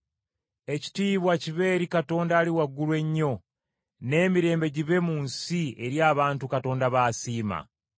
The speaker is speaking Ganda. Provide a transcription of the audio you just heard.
“Ekitiibwa kibe eri Katonda Ali Waggulu ennyo. N’emirembe gibe mu nsi eri abantu Katonda b’asiima.”